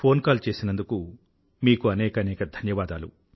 phone call చేసినందుకు మీకు అనేకానేక ధన్యవాదాలు